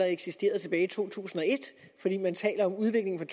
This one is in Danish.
eksisterede tilbage i to tusind og et fordi man taler om udviklingen